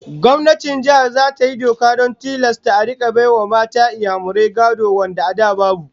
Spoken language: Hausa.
Gwamnatin Jihar zata yi doka don tilasta a rika bai wa matan Inyamurai gado wanda a da babu